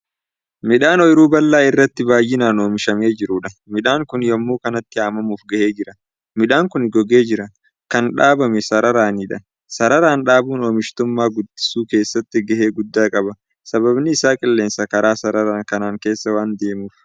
Midhaan ooyruu bal'aa irratti baay'inaan oomishamee jiruudha. midhaannkuni yemmuu kanatti haammamuuf gahee jira. midhaan Kuni gogee jira. kan dhaabame sararaanidha. sararaan dhaabuun oomishtummaa guttisuu keessatti gahee guddaa qaba sababni Isaa qilleensa karaa sararaan kanaan keessa waan deemuuf.